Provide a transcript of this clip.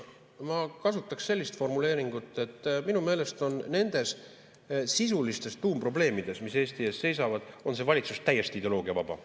Ma kasutaks sellist formuleeringut, et minu meelest nendes sisulistes tuumprobleemides, mis Eesti ees seisavad, on see valitsus täiesti ideoloogiavaba.